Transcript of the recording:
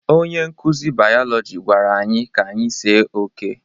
Onye nkuzi biologi gwara anyị ka anyị see oke